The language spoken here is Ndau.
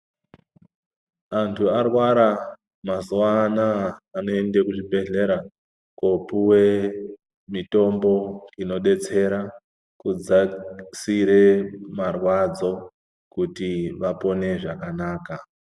Antu arwara mazuva anawa anoenda kuzvibhedhlera kopuwe mitombo inodetsera kudzasira marwadzo kuti vapone zvakanaka.